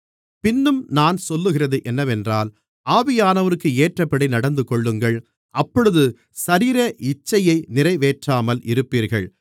பின்னும் நான் சொல்லுகிறது என்னவென்றால் ஆவியானவருக்கு ஏற்றபடி நடந்துகொள்ளுங்கள் அப்பொழுது சரீர இச்சையை நிறைவேற்றாமல் இருப்பீர்கள்